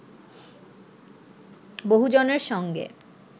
বহুজনের সঙ্গে